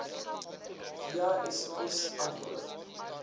via sms antwoord